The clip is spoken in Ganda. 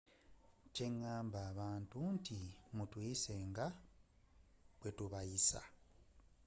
kye ngamba abantu nti mutuyise nga bwe tubayisa